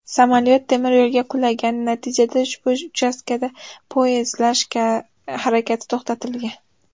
Samolyot temiryo‘lga qulagan, natijada ushbu uchastkada poyezdlar harakati to‘xtatilgan.